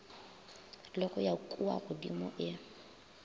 le go ya kuagodimo e